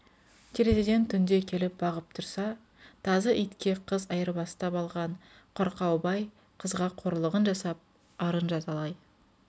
терезеден түнде келіп бағып тұрса тазы итке қыз айырбастап алған қорқау бай қызға қорлыған жасап арын жазалай